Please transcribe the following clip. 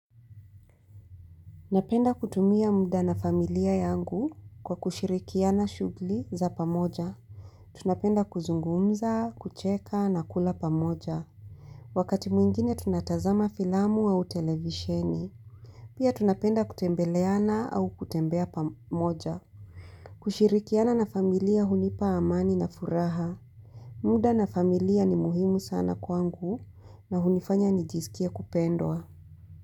Napenda kutumia muda na familia yangu kwa kushirikiana shugli za pamoja. Tunapenda kuzungumza, kucheka na kula pamoja. Wakati mwingine tunatazama filamu au televisheni. Pia tunapenda kutembeleana au kutembea pamoja. Kushirikiana na familia hunipa amani na furaha. Muda na familia ni muhimu sana kwangu na hunifanya nijisikie kupendwa.